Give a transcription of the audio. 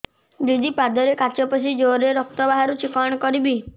ଦିଦି ପାଦରେ କାଚ ପଶି ଜୋରରେ ରକ୍ତ ବାହାରୁଛି କଣ କରିଵି